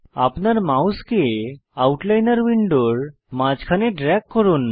আপনার মাউসকে আউটলাইনর উইন্ডোর মাঝখানে ড্রেগ করুন